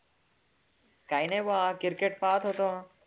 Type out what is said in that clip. काही नाही बवा, cricket पाहतं होतो.